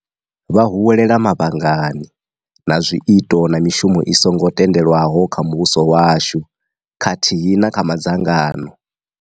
Vha huwelela mavhangani na zwiito na mishumo i songo tendelwaho kha muvhuso washu khathihi na kha madzangano.